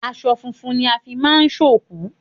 Aṣọ funfun ni a fi máa ń òkú